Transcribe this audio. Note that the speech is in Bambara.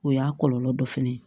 O y'a kɔlɔlɔ dɔ fana ye